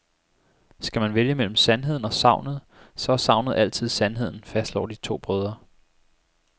Skal man vælge mellem sandheden og sagnet, så er sagnet altid sandheden, fastslår de to brødre.